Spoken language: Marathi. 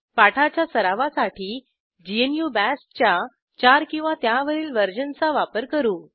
पाठाच्या सरावासाठी ग्नू bashच्या 4 किंवा त्यावरील वर्जनचा वापर करू